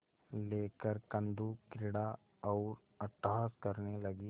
लेकर कंदुकक्रीड़ा और अट्टहास करने लगी